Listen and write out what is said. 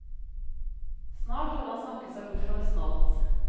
Snart hadde han snakket seg bort fra nesten alt.